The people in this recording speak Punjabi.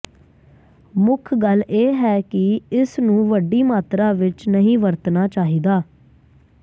ਮੁੱਖ ਗੱਲ ਇਹ ਹੈ ਕਿ ਇਸ ਨੂੰ ਵੱਡੀ ਮਾਤਰਾ ਵਿੱਚ ਨਹੀਂ ਵਰਤਣਾ ਚਾਹੀਦਾ